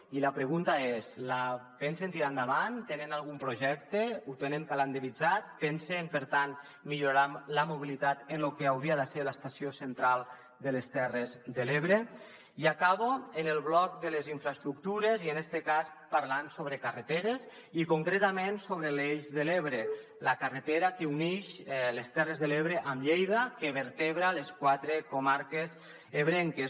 i la pregunta és la pensen tirar endavant tenen algun projecte ho tenen calendaritzat pensen per tant millorar la mobilitat en lo que hauria de ser l’estació central de les terres de l’ebre i acabo amb el bloc de les infraestructures i en este cas parlant sobre carreteres i concretament sobre l’eix de l’ebre la carretera que uneix les terres de l’ebre amb lleida que vertebra les quatre comarques ebrenques